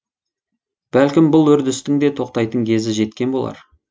бәлкім бұл үрдістің де тоқтайтын кезі жеткен болар